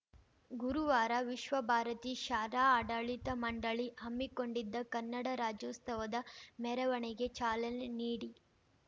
ಗುರುವಾರ ವಿಶ್ವಭಾರತಿ ಶಾಲಾ ಆಡಳಿತ ಮಂಡಳಿ ಹಮ್ಮಿಕೊಂಡಿದ್ದ ಕನ್ನಡ ರಾಜ್ಯೋತ್ಸವದ ಮೆರವಣಿಗೆ ಚಾಲನೆ ನೀಡಿ